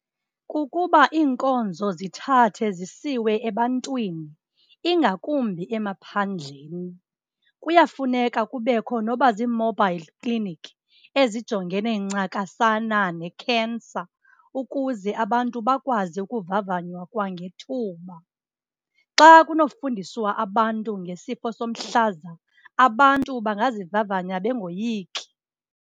Kukuba iinkonzo zithathe zisiwe ebantwini, ingakumbi emaphandleni. Kuyafuneka kubekho noba ziimobhayili kliniki, ezijongene ncakasana nekhensa ukuze abantu bakwazi ukuvavanywa kwangethuba. Xa kunofundiswa abantu ngesifo somhlaza, abantu bangazivavanya bengoyiki.